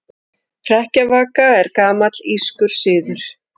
Hrekkjavaka er gamall írskur siður.